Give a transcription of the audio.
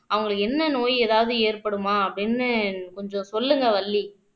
அவங்களுக்கு என்ன நோய் ஏதாவது ஏற்படுமா அப்படின்னு கொஞ்சம் சொல்லுங்க வள்ளி